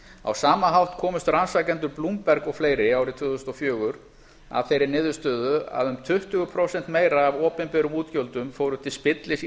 á sama hátt komust rannsakendurnir bloomberg og fleiri árið tvö þúsund og fjögur að þeirri niðurstöðu að um tuttugu prósentum meira af opinberum útgjöldum fóru til spillis í